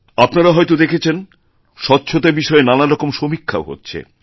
আপনারা হয়ত দেখেছেন স্বচ্ছতা বিষয়েনানা রকম সমীক্ষাও হচ্ছে